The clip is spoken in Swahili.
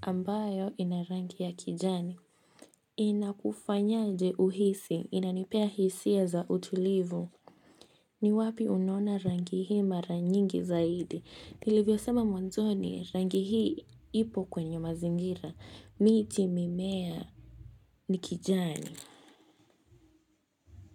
ambayo inarangi ya kijani. Inakufanyaje uhisi, inanipea hisia za utulivu. Ni wapi unona rangi hii mara nyingi zaidi. Nile vyo sema mwanzo ni rangi hii ipo kwenye mazingira. Miti mimea nikijani.